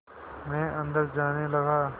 मैं अंदर जाने लगा